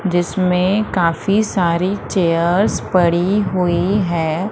जिसमें काफी सारी चेयर्स पड़ी हुई हैं।